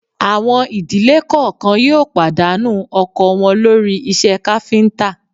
Àwọn ìdílé kọ̀ọ̀kan yóò pàdánù ọkọ wọn lórí iṣẹ́ káfíńtà